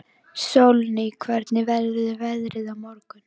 Sólný, hvernig verður veðrið á morgun?